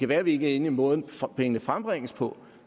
være vi ikke er enige i måden pengene frembringes på